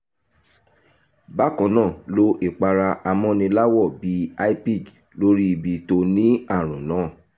bákan náà lo ìpara amọ́niláwọ̀ bíi hypig lórí ibi tó ní àrùn náà